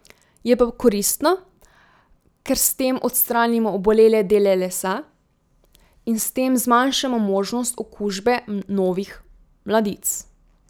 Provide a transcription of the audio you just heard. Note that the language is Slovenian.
Je pa koristno, ker s tem odstranimo obolele dele lesa in s tem zmanjšamo možnost okužbe novih mladic.